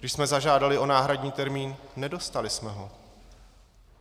Když jsme zažádali o náhradní termín, nedostali jsme ho.